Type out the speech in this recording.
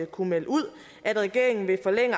kunnet melde ud at regeringen vil forlænge